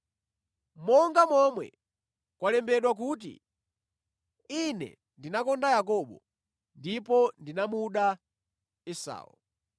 Monga momwe kwalembedwa kuti, “Ine ndinakonda Yakobo, koma ndinamuda Esau.”